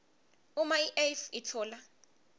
uma iuif itfola